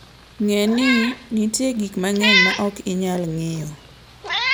Ng'e ni nitie gik mang'eny ma ok inyal ng'iyo.